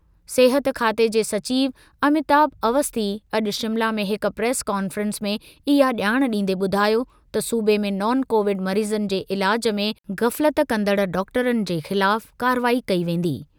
सिहत खाते जे सचिव अमिताभ अवस्थी अॼु शिमला में हिक प्रेस कॉन्फ़्रेंस में इहा ॼाण ॾींदे ॿुधायो त सूबे में नॉन कोविड मरीज़नि जे इलाज में ग़फ़लत कंदड़ डॉक्टरनि जे ख़िलाफ़ कारवाई कई वेंदी।